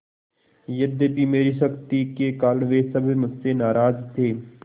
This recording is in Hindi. यद्यपि मेरी सख्ती के कारण वे सब मुझसे नाराज थे